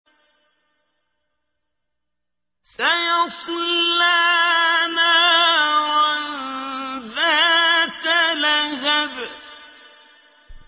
سَيَصْلَىٰ نَارًا ذَاتَ لَهَبٍ